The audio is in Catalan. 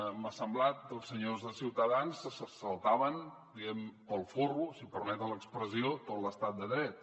m’ha semblat que els senyors de ciutadans se saltaven diguem ne pel forro si em permeten l’expressió tot l’estat de dret